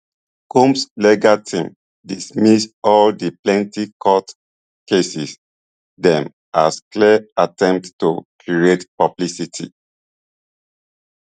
combs legal team dismiss all di plenty court cases dem as clear attempts to create publicity